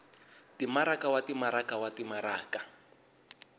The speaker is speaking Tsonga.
timaraka wa timaraka wa timaraka